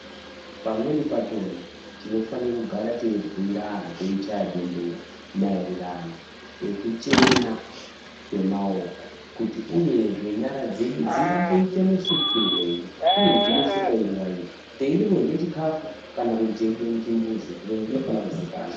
Pamweni pachona tinofanira kugara teibhuira antu teichaya bembera maererano ekuchena kwemaoko uyezve nyara dzedu dzingangoita musukirwei uye dzinosukwa nguwa iri teida kurya chikafu kana teibva muchimbuzi zviro izvi zvinofana kuzikanwa.